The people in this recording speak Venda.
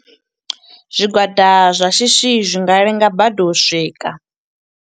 Zwigwada zwa shishi, zwi nga lenga badi u swika.